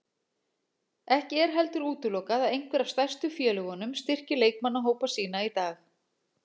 Ekki er heldur útilokað að einhver af stærstu félögunum styrki leikmannahópa sína í dag.